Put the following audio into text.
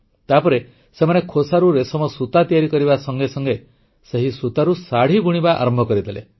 ତାପରେ ସେମାନେ ଖୋସାରୁ ରେଶମ ସୂତା ତିଆରି କରିବା ସଙ୍ଗେ ସଙ୍ଗେ ସେହି ସୂତାରୁ ଶାଢ଼ୀ ବୁଣିବା ଆରମ୍ଭ କରିଦେଲେ